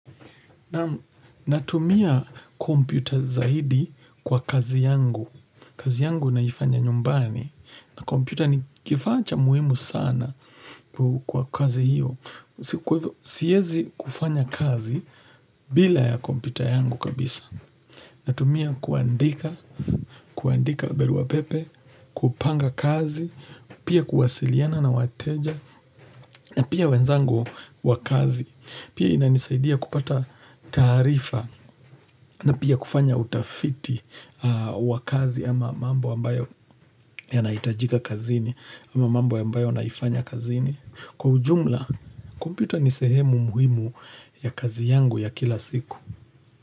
Naam natumia kompyuta zaidi kwa kazi yangu kazi yangu naifanya nyumbani na kompyuta ni kifaa cha muhimu sana kwa kazi hiyo Siezi kufanya kazi bila ya kompyuta yangu kabisa Natumia kuandika, kuandika baruapepe kupanga kazi, pia kuwasiliana na wateja Pia wenzangu wa kazi Pia inanisaidia kupata taarifa na pia kufanya utafiti wa kazi ama mambo ambayo yanahitajika kazini ama mambo ambayo naifanya kazini. Kwa ujumla, kompyuta ni sehemu muhimu ya kazi yangu ya kila siku.